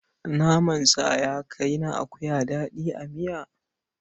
Naman sa ya kai na akuya daɗi a miya.